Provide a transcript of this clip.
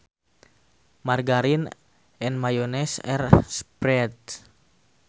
Margarine and mayonnaise are spreads